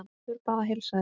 Urður bað að heilsa þér.